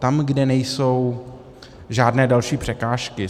Tam, kde nejsou žádné další překážky.